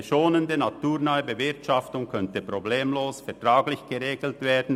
Eine schonende und naturnahe Bewirtschaftung könnte problemlos vertraglich geregelt werden.